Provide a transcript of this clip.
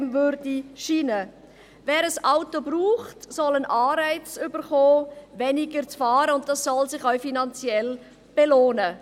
Wer ein Auto braucht, soll einen Anreiz erhalten, wenig zu fahren, und das soll sich auch finanziell lohnen.